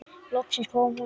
Loksins kom hún.